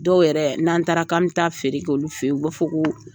Dɔw yɛrɛ n'an taara k'an me taa feere k'olu fɛ yen u b'a fɔ ko